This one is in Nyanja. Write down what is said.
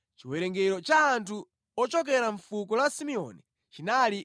Chiwerengero cha anthu ochokera mʼfuko la Simeoni chinali 59,300.